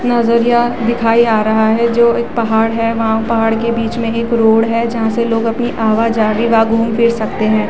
नजरिया दिखाई आ रहा है जों एक पहाड़ है। वहां पहाड़ के बिच में एक रोड है जहां से लोग अपनी आवा-जावी व घूम-फिर सकते हैं।